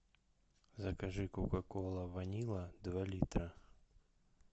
закажи кока кола ванила два литра